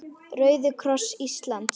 Rauði kross Íslands